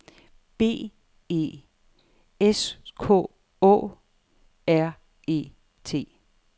B E S K Å R E T